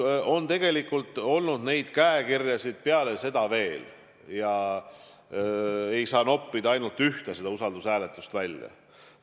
Ja tegelikult on sellist käekirja peale seda veel näha olnud, ei saa noppida ainult seda ühte usaldushääletust välja.